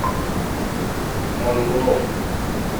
моргунов